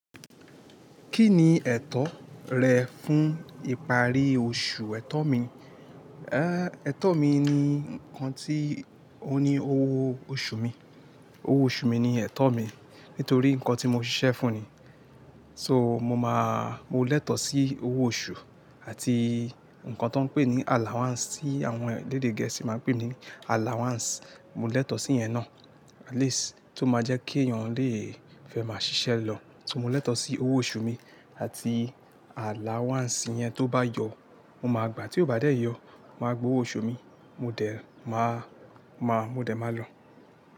Kí ni ẹ̀tọ́ rẹ fún ìparí oṣù, ẹ̀tọ́ mi? Ehn, ẹ̀tọ́ mi ni ǹkan tí ó ní owó oṣù mi. Owó oṣù mi ni ẹ̀tọ́ mi nítorí ǹkan tí mo ṣiṣẹ́ fún ni. So mo máa, mo lẹ́tọ̀ sí owó oṣù àti ǹkan ti woń n pè ní allowance tí àwọn elede gẹ̀ẹ́sì máa ń pè ní allowance. Mo lẹ́tọ̀ sí iyẹn ná, at least tó máa jẹ́ kí èèyàn lè fẹ́ máa ṣiṣẹ́ lọ. Mo lẹ́tọ̀ sí owó oṣù mi àti allowance yẹn, tó bá yọ, mo máa gbà, tí ó bá dé yọ, mo máa gbowó oṣù mi, mo dẹ̀ máa, máa, mo dẹ̀ máa lọ.